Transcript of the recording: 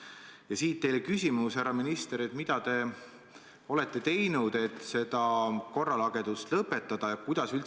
Ja siit teile küsimus: härra minister, mida te olete teinud, et see korralagedus lõpetada?